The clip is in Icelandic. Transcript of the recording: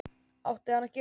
Átti hann að gera það??